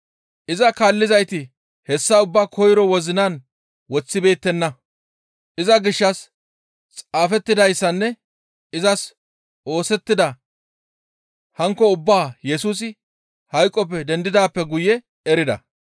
Iza kaallizayti hessa ubbaa koyro wozinan woththibeettenna. Iza gishshas xaafettidayssanne izas oosettida hanokka ubbaa Yesusi hayqoppe dendidaappe guye erida.